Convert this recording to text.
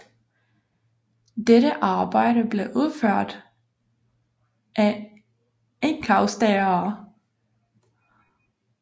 Dette arbejde blev udført af enkausterere